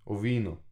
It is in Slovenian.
O vinu.